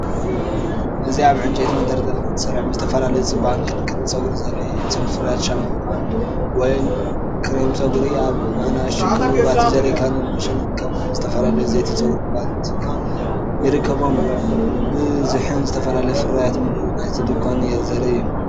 እዚ ኣብ ዕንጨይቲ መደርደሪታት ተሰሪዖም ዝተፈላለዩ ፍርያት ጽባቐን ክንክን ጸጉርን ዘርኢ እዩ። እቶም ፍርያት ሻምፖ ፖማድ ወይ ክሬም ጸጉሪ ኣብ ንኣሽቱ ክቡባት ጀርካንን ሎሽንን ከምኡ’ውን ዝተፈላለዩ ዘይቲ ጸጉሪ ቫቲካ ይርከብዎም።"ብዝሕን ዝተፈላለዩ ፍርያትን ምሉእነት ናይቲ ድኳን ዘርኢ'ዩ።"